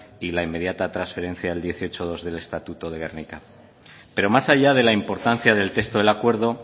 y la inmediata transferencia del dieciocho punto dos del estatuto de gernika pero más allá de la importancia del texto del acuerdo